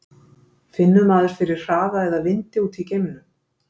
finnur maður fyrir hraða eða vindi úti í geimnum